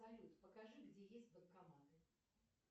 салют покажи где есть банкоматы